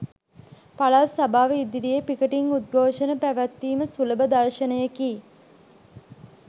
පළාත් සභාව ඉදිරියේ පිකටින් උද්ඝෝෂණ පැවැත්වීම සුලභ දර්ශනයෙකි